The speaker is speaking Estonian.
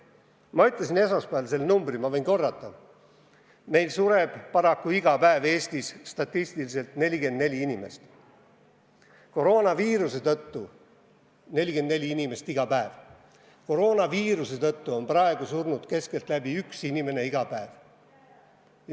Ma ütlesin esmaspäeval selle numbri, võin seda korrata: iga päev sureb Eestis statistiliselt 44 inimest, koroonaviiruse tõttu on praegu surnud keskeltläbi 1 inimene ühe päeva kohta.